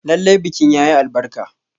Lallai bikin yayi albarka.